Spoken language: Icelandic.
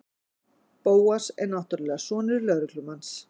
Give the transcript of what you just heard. Bóas er náttúrlega sonur lögreglumanns.